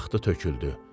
töküldü.